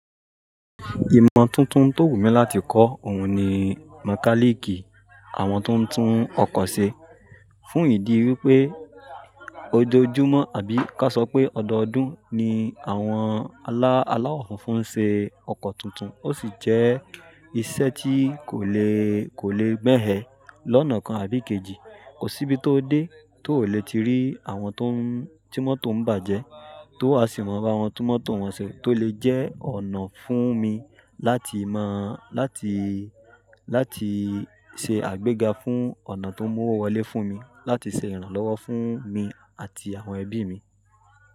Ìmọ̀ tuntun tó wùmí láti kọ́ òun ni Mekaniki, àwọn tó ń tún ọkọ̀ ṣe. Fún ìdí wí pé ojoojúmọ́ àbí ka sọ pé ọdọọdún ni àwọn àláwọ̀ fúnfún ṣe ọkọ̀ tuntun, ó sì jẹ́ iṣẹ́ tí kò lè, kò lè bẹ̀ hẹn lọ́nà kan àbí kejì. Kò síbi tó dé tó le ti rí àwọn tó ń, tí mọ́tò ń bàjẹ́, tó a sì mọ̀ bá wọn tún mọ́tò wọn ṣe, tó lè jẹ́ ọ̀nà fún mi láti máa, láti, láti ṣe àgbéga fún ọ̀nà tó mú owó wọlé fún mi, láti ṣe ìrànlọ́wọ́ fún mi àti àwọn ẹbí mi.